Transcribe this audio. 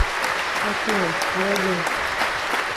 афина алладин